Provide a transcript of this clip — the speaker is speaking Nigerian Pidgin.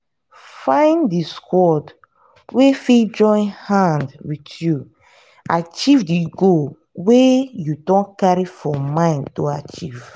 find di squad wey fit join hand with you achive di goal wey you don carry for mind to achieve